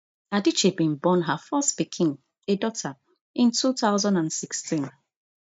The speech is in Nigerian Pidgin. adichie bin born her first pikin a daughter in two thousand and sixteen